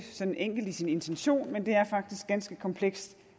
enkelt i sin intention men det er faktisk ganske komplekst